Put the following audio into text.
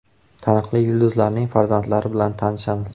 Taniqli yulduzlarning farzandlari bilan tanishamiz .